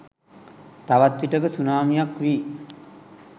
තවත් විටෙක සුනාමියක් වී